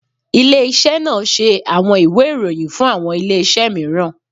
Ile-iṣẹ naa ṣe awọn iwe iroyin, fun awọn ile-iṣẹ miiran